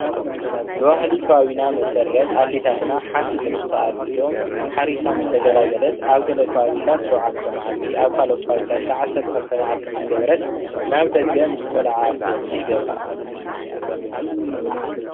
ብባህሊ ከባቢና መሰረት ኣዴታትና ሓንቲ ጥንስቲ ኣዶ ሓሪሳ ምስተገላገለት ኣብ ገለ ከባብታት ሸዉዓተ መዓልቲ ኣብ ካልኦት ከባብታት ድማ ዓሰርተ ክልተ መዓልቲ ምስ ገበረት ናብ ደገ ምስ ቆልዓኣ ክትወፅእ ይገብርኣ።